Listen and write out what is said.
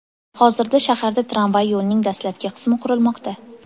Hozirda shaharda tramvay yo‘lining dastlabki qismi qurilmoqda .